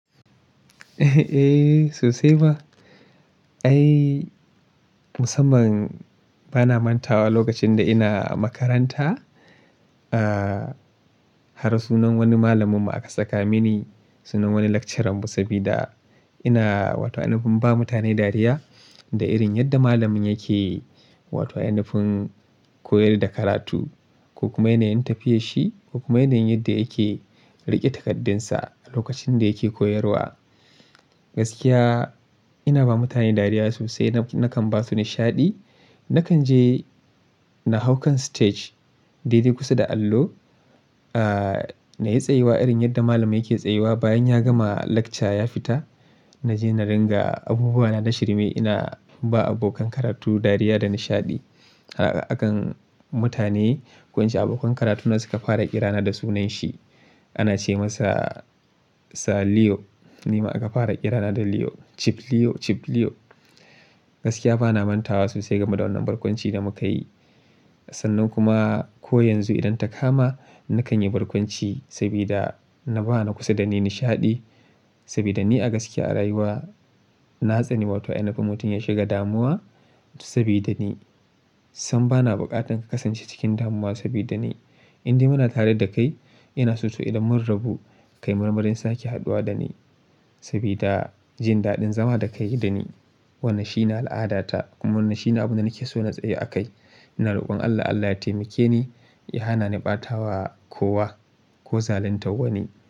Eh, sosai ma. Ai musamman bana mantawa lokacin da ina makaranta, har sunan wani malamin mu aka saka mini. Sunan wani lecturer mu sabida ina wato ainafin ba mutane dariya da irin yadda malamin yake. Qato ainifin koyar da karatu ko kuma yanayin tafiyar shi ko kuma yanayin yadda yake riƙe takardunsa a lokacin da yake koyarwa. Gaskiya ina ba mutane dariya sosai na nakan ba su nishaɗi. Nakan je na hau kan stage dai-dai kusa da allo, na yi tsayuwa irin yadda malamin yake tsayuwa bayan ya gama lecture ya fita. Naje na ringa abubuwa na na shirme ina ba abokan karatu dariya da nishaɗi. A kan mutane, ko ince abokan karatu na suka fara ƙira na da sunanshi. Ana ce masa Sa Leo, ni ma aka fara ƙira na da Leo, Chief Leo, Chief Leo. Gaskiya bana manta wa sosai game da wannan barkwanci da muka yi. Sannan kuma ko yanzu idan ta kama nakan yi barkwanci sabida na ba na kusa da ni nishaɗi. Sabida ni a gaskiya a rayuwa na tsani wato inafin mutum ya shiga damuwa sabida ni. Sam bana buƙatan ka kasance cikin damuwa sabida ni. Inde muna tare da kai ina so to idan mun rabu ka i marmarin sake haɗuwa da ni sabida jin daɗin zama da ka yi da ni. Wannan shi ne al'ada ta kuma wannan shi ne abin da nake so na tsayu a kai. Ina roƙon Allah Allah ya taimake ni ya hana ni ɓatawa kowa. Ko zaluntar wani.